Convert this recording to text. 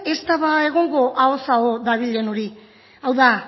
ez da egongo ahoz aho dabilen hori hau da